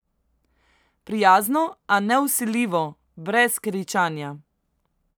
Prijazno, a nevsiljivo, brez kričanja.